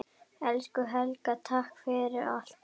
Elsku Helga, takk fyrir allt.